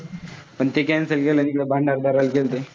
पण ते cancel केलं आणि इकडं भंडारदऱ्याला गेलतो.